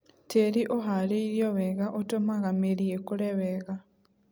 Tĩri ũharĩrĩirio wega ũtũmaga mĩri ĩkũre wega.